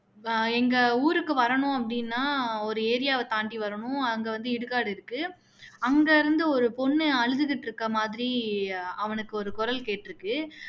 வ எங்க ஊருக்கு வரணும் அப்படின்னா ஒரு area வ தாண்டி வரணும் அங்க வந்து இடுகாடு இருக்கு அங்க இருந்து ஒரு பொண்ணு அழுதுகிட்டு இருக்க மாதிரி ஒரு குரல் கேட்டுருக்கு